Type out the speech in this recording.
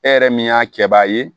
E yɛrɛ min y'a kɛbaa ye